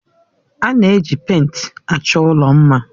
A na-eji pèịnt achọ ụlọ mma.